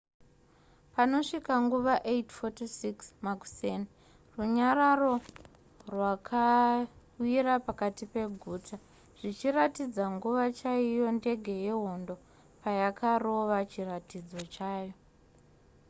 panosvika nguva 8:46 makuseni runyararo rwakawira pakati peguta zvichiratidza nguva chaiyo ndege yehondo payakarova chiratidzo chayo